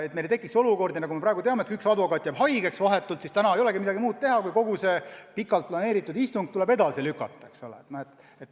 Ei tohi tekkida olukordi, et kui üks advokaat jääb vahetult enne istungit haigeks, siis sel päeval ei olegi midagi muud teha ja kogu pikalt planeeritud istung tuleb edasi lükata.